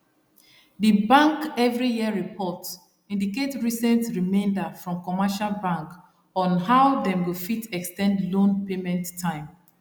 the bank every year report indicate recent remainder from commercial bank on how dem go fit ex ten d loan payment time